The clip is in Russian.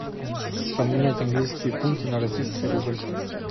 поменять английские фунты на российский рубль